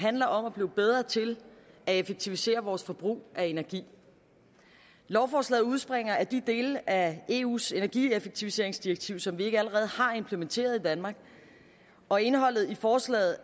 handler om at blive bedre til at effektivisere vores forbrug af energi lovforslaget udspringer af de dele af eus energieffektiviseringsdirektiv som vi ikke allerede har implementeret i danmark og indholdet i forslaget